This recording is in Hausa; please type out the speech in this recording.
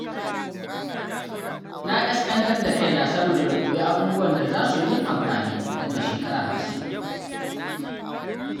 Na ƙasƙantar da kaina saboda na koyi abubuwan da za su yi min amfani nan da shekara hamsin.